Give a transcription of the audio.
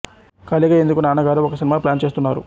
ఖాళీ గా ఎందుకూ నాన్నగారు ఒక సినిమా ప్లాన్ చేస్తున్నారు